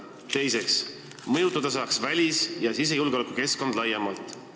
Teiseks avaldaks see mõju välis- ja sisejulgeoleku keskkonnale laiemalt.